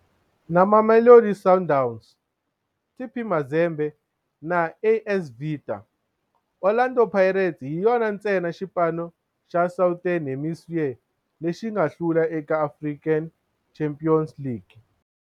Na Mamelodi Sundowns, TP Mazembe na AS Vita, Orlando Pirates hi yona ntsena xipano xa Southern Hemisphere lexi nga hlula eka African Champions League.